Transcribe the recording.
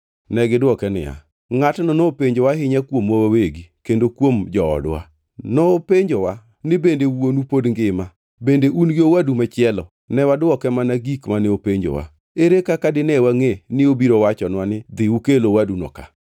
To negidwoke niya, “Ngʼatno nopenjowa ahinya kuomwa wawegi kendo kuom joodwa. Nopenjowa ni, ‘Bende wuonu pod ngima? Bende un gi owadu machielo?’ Ne wadwoke mana gik mane openjowa. Ere kaka dine wangʼe ni obiro wachonwa ni, ‘Dhi ukel owaduno ka’?”